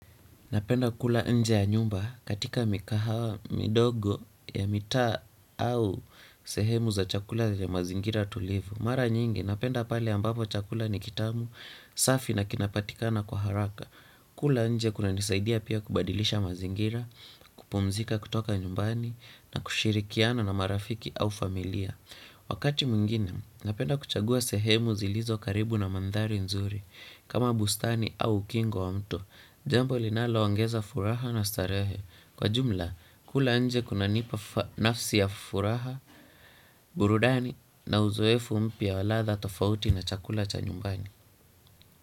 Napenda kula nje ya nyumba katika mikahawa midogo ya mitaa au sehemu za chakula ya mazingira tulivu. Mara nyingi napenda pale ambapo chakula ni kitamu safi na kinapatikana kwa haraka. Kula nje kunanisaidia pia kubadilisha mazingira, kupumzika kutoka nyumbani na kushirikiana na marafiki au familia. Wakati mwingine napenda kuchagua sehemu zilizo karibu na mandhari nzuri kama bustani au ukingo wa mto. Jambo linaloongeza furaha na starehe. Kwa jumla, kula nje kunanipa nafsi ya furaha burudani na uzoefu mpya wa ladha tofauti na chakula cha nyumbani.